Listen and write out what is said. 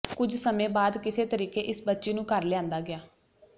ਕੁਝ ਸਮੇਂ ਬਾਅਦ ਕਿਸੇ ਤਰੀਕੇ ਇਸ ਬੱਚੀ ਨੂੰ ਘਰ ਲਿਆਂਦਾ ਗਿਆ